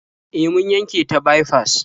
E, mun yanke ta baifas.